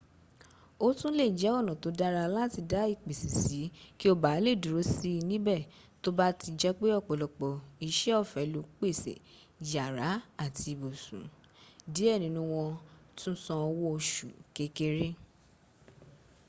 o tun le je ona to dara lati da ipese si ki o baa le duro si nibe to ba ti jepe opolopo ise ofe lo pese yara ati ibiisun die ninu won tun san owo osu kekere